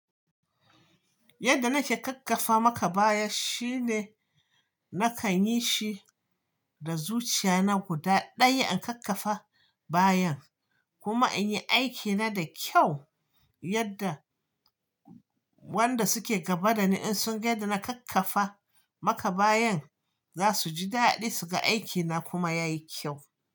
Yadda nake kakkafa maka baya shine nakan yi shi da zuciya na guda ɗaya in kakkafa bayan kuma in yi aikina da kyau yadda wanda suke gaba da ni in sun ga yadda na kakkafa maka bayan za su ji daɗi suga aiki na kuma ya yi kyau.